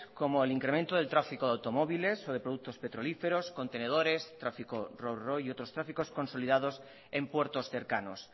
como el incremento del tráfico de automóviles o de productos petrolíferos contenedores tráfico ro ro y otros tráficos consolidados en puertos cercanos